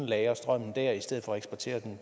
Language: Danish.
lagre strømmen der i stedet for at eksportere den